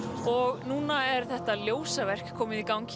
og núna er þetta ljósaverk komið í gang